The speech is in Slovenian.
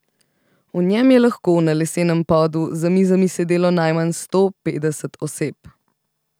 V njem je lahko na lesenem podu za mizami sedelo najmanj sto petdeset oseb.